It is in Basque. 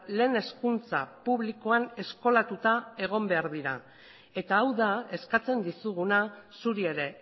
lehen hezkuntza publikoan eskolatuta egon behar dira eta hau da eskatzen dizuguna zuri ere